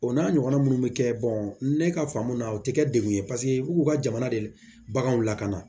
O n'a ɲɔgɔnna minnu bɛ kɛ ne ka faamu na u tɛ kɛ degun ye paseke u k'u ka jamana de baganw lakana